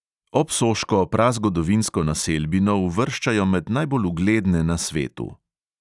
Obsoško prazgodovinsko naselbino uvrščajo med najbolj ugledne na svetu.